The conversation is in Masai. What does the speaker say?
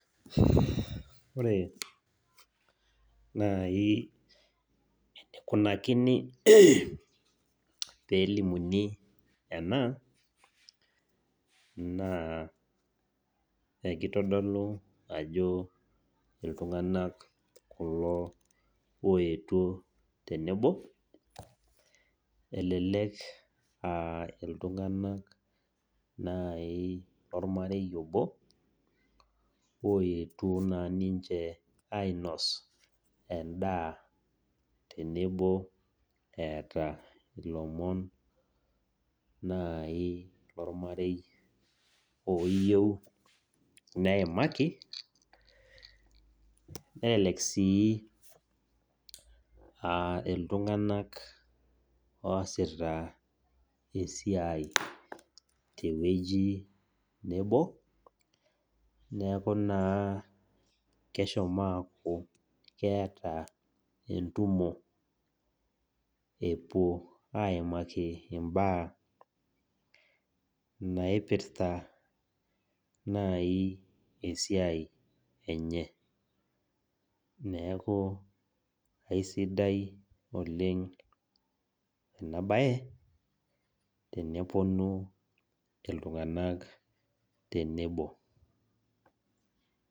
Ore nai enikunakini pee elimuni ena naa ekitodolu ajo iltunganak oetuo tenebo , elelek aa iltunganak nai lormarei obo , oetuo naa ninche ainos endaa tenebo eeta ilomon nai lormarei oyieu neimaki , nelelek sii aa iltunganak oasita esiai tewueji nebo , neku naa keshomo aaku keeta entumo , epuo aimaki imbaa naipirta nai esiai enye . Neku aisidai oleng inabae teneponu iltunganak tenebo.